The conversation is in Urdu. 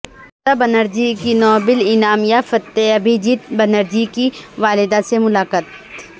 ممتا بنرجی کی نوبل انعام یافتہ ابھیجیت بنرجی کی والدہ سے ملاقات